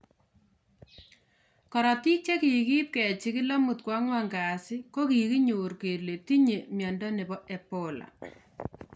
Korotik chekikiip kechigil amut koanguan kasii koginyor kole tinye Mwindo nebo Ebola